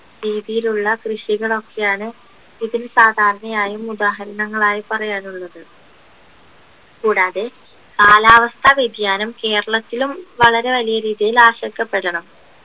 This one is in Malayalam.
രീതിയിലുള്ള കൃഷികളൊക്കെയാണ് ഇതിന് സാധാരണയായും ഉദാഹരണങ്ങളായി പറയാനുള്ളത് കൂടാതെ കാലാവസ്ഥ വ്യതിയാനം കേരളത്തിലും വളരെ വലിയ രീതിയിൽ ആശ്വാസപ്പെടണം